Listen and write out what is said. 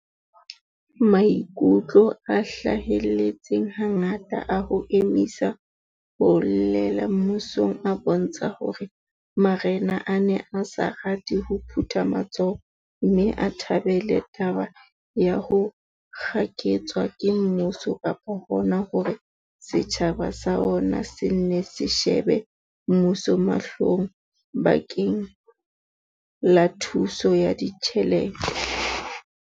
Maikutlo a hlahelletseng hangata a ho emisa ho llela mmusong a bontsha hore ma rena a ne a sa rate ho phutha matsoho mme a thabele taba ya ho kgaketswa ke mmuso kapa hona hore setjhaba sa ona se nne se shebe mmuso mahlong bakeng la thuso ya ditjhelete.